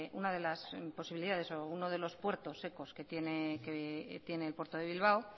una de las posibilidades o uno de los puertos secos que tiene el puerto de bilbao